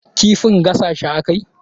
Kifin gasa shi a kai?